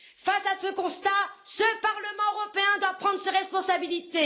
Face à ce constat, le Parlement européen doit prendre ses responsabilités.